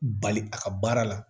Bali a ka baara la